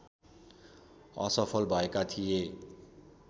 असफल भएका थिए